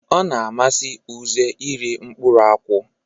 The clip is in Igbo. Ọna amasi uze iri mkpụrụ nkwụ.